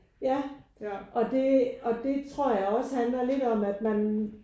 Ja og det og det tror jeg også handler lidt om at man